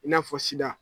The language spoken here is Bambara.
I n'a fɔ sida